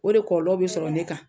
O de kɔlɔlɔ bɛ sɔrɔ ne kan.